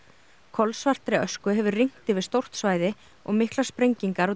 kolsvartri ösku hefur rignt yfir stórt svæði og miklar sprengingar og